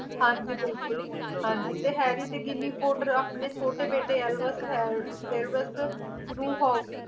ਹਾਂ ਜੀ ਹਾਂ ਜੀ harry ਤੇ ginny potter ਆਪਣੇ ਛੋਟੇ ਬੇਟੇ alva alvas ਨੂੰ